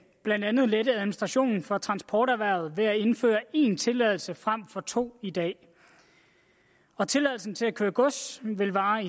blandt andet lette administrationen for transporterhvervet ved at indføre én tilladelse frem for to i dag og tilladelsen til at køre gods vil vare